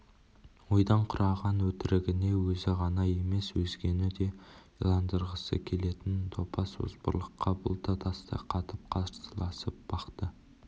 ойдан құраған өтірігіне өзі ғана емес өзгені де иландырғысы келетін топас озбырлыққа бұл да тастай қатып қарсыласып бақты